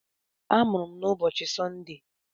A mụrụ m n'ụbọchị Sọnde